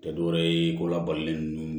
Tɛ dɔwɛrɛ ye ko labalonnen ninnu